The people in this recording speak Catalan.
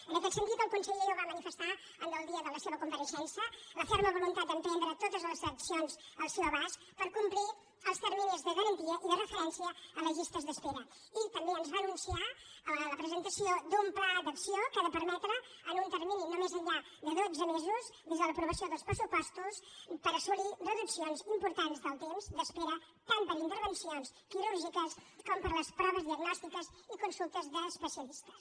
en aquest sentit el conseller ja ho va manifestar el dia de la seva compareixença la ferma voluntat d’emprendre totes les accions al seu abast per complir els terminis de garantia i de referència a les llistes d’espera i també ens va anunciar la presentació d’un pla d’acció que ha de permetre en un termini de no més enllà de dotze mesos des de l’aprovació dels pressupostos assolir reduccions importants del temps d’espera tant per a intervencions quirúrgiques com per a les proves diagnòstiques i consultes d’especialistes